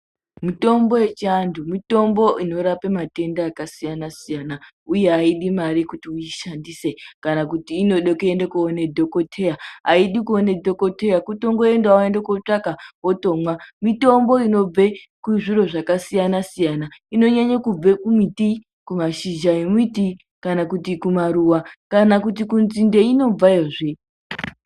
Mitombo yechiantu, mitombo inorape matenda akasiyana siyana, uye haidi mari kuti uyishandise kana kuti inode kuti unoone dhogodheya ,haidi kuone dhogodheya kutongoenda woende wotonotsvaga wotonwa, mitombo inobve kuzviro zvakasiyana siyana, inonyanyanye kubva kumiti ,kumashizha emiti kana kuti kumaruwa kana kudzinde yeyinobva zviye.